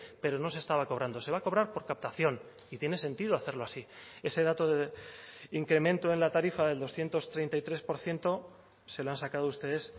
pero no se estaba cobrando se va a cobrar por captación y tiene sentido hacerlo así ese dato de incremento en la tarifa del doscientos treinta y tres por ciento se lo han sacado ustedes